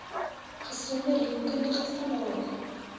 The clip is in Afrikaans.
gesonde rekenkundige standaarde